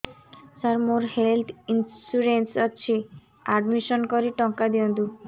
ସାର ମୋର health insurance ଅଛି admission କରି ଟଙ୍କା ଦିଅନ୍ତୁ